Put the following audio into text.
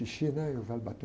xixi, né? E o velho batendo